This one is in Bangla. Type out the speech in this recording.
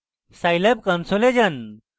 scilab console যান